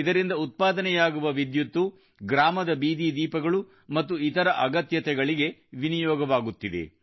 ಇದರಿಂದ ಉತ್ಪಾದನೆಯಾಗುವ ವಿದ್ಯುತ್ ಗ್ರಾಮದ ಬೀದಿ ದೀಪಗಳು ಮತ್ತು ಇತರ ಅಗತ್ಯತೆಗಳಿಗೆ ವಿನಿಯೋಗವಾಗುತ್ತಿದೆ